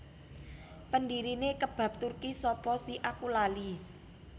Pendirine Kebab Turki sapa si aku lali